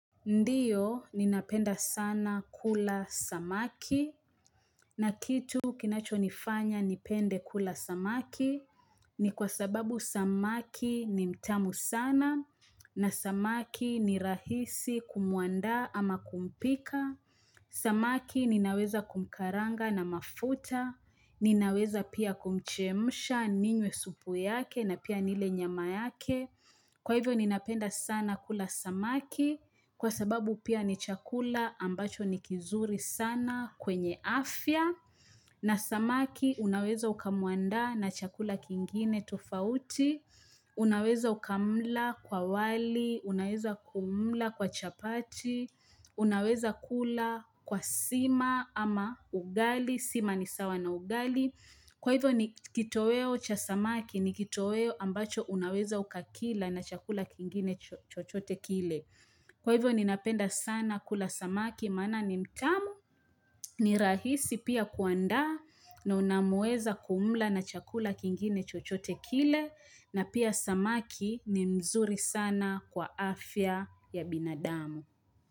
Ndiyo, ninapenda sana kula samaki, na kitu kinachonifanya nipende kula samaki, ni kwa sababu samaki ni mtamu sana, na samaki ni rahisi kumuandaa ama kumpika, samaki ninaweza kumkaranga na mafuta, ninaweza pia kumchemsha ninywe supu yake na pia nile nyama yake. Kwa hivyo ninapenda sana kula samaki, kwa sababu pia ni chakula ambacho ni kizuri sana kwenye afya, na samaki unaweza ukamwanda na chakula kingine tofauti, unaweza ukamla kwa wali, unaweza kumla kwa chapati, unaweza kula kwa sima ama ugali, sima ni sawa na ugali. Kwa hivyo ni kitoweo cha samaki ni kitoweo ambacho unaweza ukakila na chakula kingine chochote kile. Kwa hivyo ninapenda sana kula samaki maana ni mtamu ni rahisi pia kuanda na unamueza kumla na chakula kingine chochote kile na pia samaki ni mzuri sana kwa afya ya binadamu.